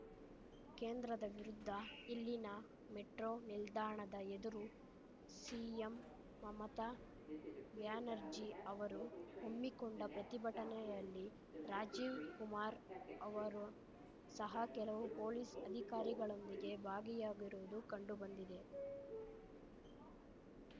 ಕೇಂದ್ರದ ವಿರುದ್ಧ ಇಲ್ಲಿನ ಮೆಟ್ರೋ ನಿಲ್ದಾಣದ ಎದುರು ಸಿಎಂ ಮಮತಾ ಬ್ಯಾನರ್ಜಿ ಅವರು ಹಮ್ಮಿಕೊಂಡ ಪ್ರತಿಭಟನೆಯಲ್ಲಿ ರಾಜೀವ್‌ ಕುಮಾರ್‌ ಅವರು ಸಹ ಕೆಲವು ಪೊಲೀಸ್‌ ಅಧಿಕಾರಿಗಳೊಂದಿಗೆ ಭಾಗಿಯಾಗಿರುವುದು ಕಂಡುಬಂದಿದೆ